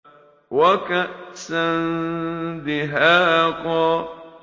وَكَأْسًا دِهَاقًا